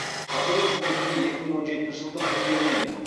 қазіргі қызметінде екі мың он жетінші жылдың қыркүйегінен